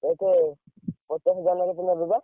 କେତେ ପଚାଶ ହଜାର ନେବେ ବା?